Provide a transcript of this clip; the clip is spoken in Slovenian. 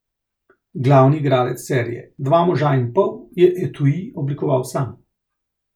Glavni igralec serije Dva moža in pol je etui oblikoval sam.